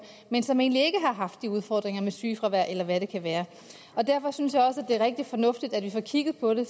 men som egentlig ikke har haft de udfordringer med sygefravær eller hvad det kan være derfor synes jeg også at det er rigtig fornuftigt at vi får kigget på det